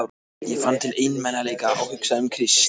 Ég fann til einmanaleika og hugsaði um Krist.